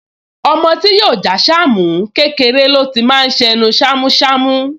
Ọmọ tí yóò jẹ́ Àṣàmú, kékeré ló ti máa ṣ’ẹnu ṣámúṣamú